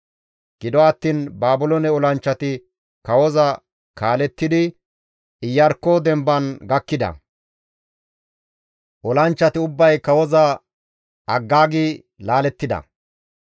Gido attiin Baabiloone olanchchati kawoza kaalettidi Iyarkko demban gakkida. Olanchchati ubbay kawoza aggaagi laalettida.